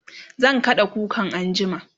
zan kada kukan anjima